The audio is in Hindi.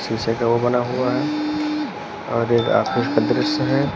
शीशे का वो बना हुआ है और एक ऑफिस का दृश्य है।